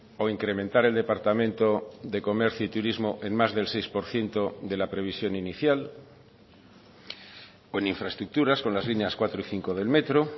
o incrementar el departamento de comercio y turismo en más del seis por ciento de la previsión inicial o en infraestructuras con las líneas cuatro y cinco del metro